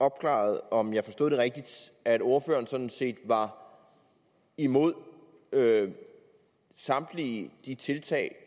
opklaret om jeg forstod det rigtigt at ordføreren sådan set var imod samtlige de tiltag